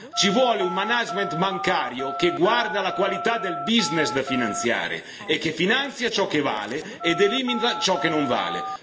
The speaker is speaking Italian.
Ci vuole un management bancario che guardi alla qualità del business da finanziare e che finanzi ciò che vale ed elimina ciò che non vale.